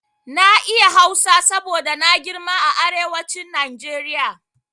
Na iya Hausa saboda na girma a arewacin Najeriya.